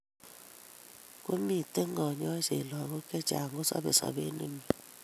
Komiiten kanyoiseet lagok chechang' kosobe sobet nemiee